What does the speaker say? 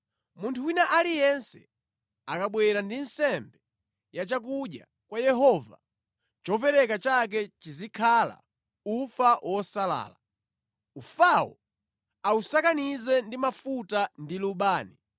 “ ‘Munthu wina aliyense akabwera ndi nsembe ya chakudya kwa Yehova, chopereka chake chizikhala ufa wosalala. Ufawo ausakanize ndi mafuta ndi lubani,